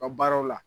U ka baaraw la